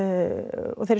og þeirri